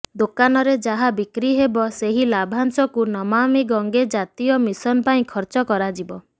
ଦୋକାନରେ ଯାହା ବିକ୍ରି ହେବ ସେହି ଲାଭାଂଶକୁ ନମାମି ଗଂଗେ ଜାତୀୟ ମିଶନ ପାଇଁ ଖର୍ଚ୍ଚ କରାଯିବ